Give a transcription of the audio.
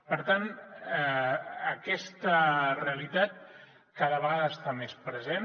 per tant aquesta realitat cada vegada està més present